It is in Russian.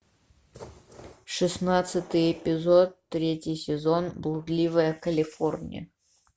шестнадцатый эпизод третий сезон блудливая калифорния